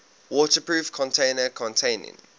waterproof container containing